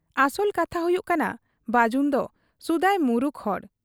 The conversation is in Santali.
ᱚᱥᱚᱞ ᱠᱟᱛᱷᱟ ᱦᱩᱭᱩᱜ ᱠᱟᱱᱟ ᱵᱟᱹᱡᱩᱱᱫᱚ ᱥᱩᱫᱟᱹᱭ ᱢᱩᱨᱩᱠ ᱦᱚᱲ ᱾